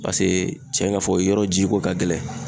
Paseke cɛn ka fɔ yɔrɔ ji ko ka gɛlɛn.